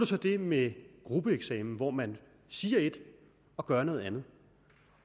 så det med gruppeeksamen hvor man siger et og gør noget andet